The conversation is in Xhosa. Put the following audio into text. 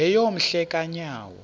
yeyom hle kanyawo